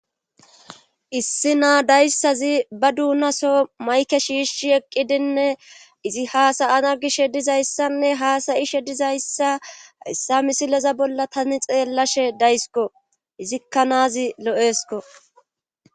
issi naa dayssazi ba duunaso mayke shiishi eqqidinne izi haasayana gishe dizayssanne haasayishe dizayssa issa misileza bolla tani xeellashe daysko izikka naazi lo7eesko